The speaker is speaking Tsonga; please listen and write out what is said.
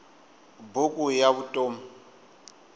buku ya vutom